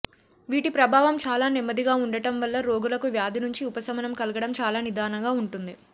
వీటి ప్రభావం చాలా నెమ్మదిగా ఉండటం వల్ల రోగులకు వ్యాధి నుంచి ఉపశమనం కలగడం చాలా నిదానంగా ఉంటుంది